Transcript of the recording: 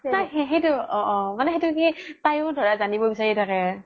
সেইতো অ অ মানে কি তাইও ধৰা জানিব বিচাৰি থাকে